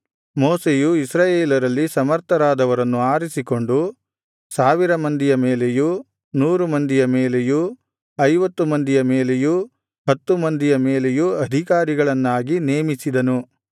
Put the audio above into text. ಮೋಶೆಯು ಇಸ್ರಾಯೇಲರಲ್ಲಿ ಸಮರ್ಥರಾದವರನ್ನು ಆರಿಸಿಕೊಂಡು ಸಾವಿರ ಮಂದಿಯ ಮೇಲೆಯೂ ನೂರು ಮಂದಿಯ ಮೇಲೆಯೂ ಐವತ್ತು ಮಂದಿಯ ಮೇಲೆಯೂ ಹತ್ತು ಮಂದಿಯ ಮೇಲೆಯೂ ಅಧಿಕಾರಿಗಳನ್ನಾಗಿ ನೇಮಿಸಿದನು